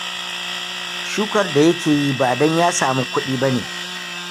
Shukar da yake yi, ba don ya samu kuɗi ba ne